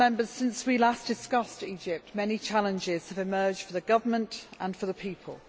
Since we last discussed Egypt many challenges have emerged for the government and for the people.